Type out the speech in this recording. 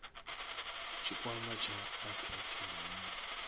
tshikwama tsha apex ndi mini